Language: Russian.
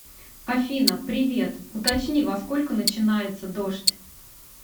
афина привет уточни во сколько начинается дождь